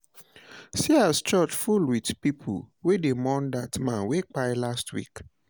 See as church full with pipo wey dey mourn dat man wey kpai last week